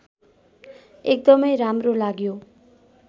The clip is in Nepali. एकदमै राम्रो लाग्यो